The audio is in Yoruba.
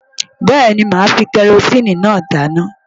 Bẹ́ẹ̀ni, màá fi kẹrosíìnì dáná.